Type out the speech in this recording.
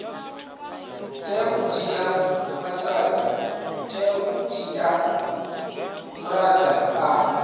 tea u dzhia maga a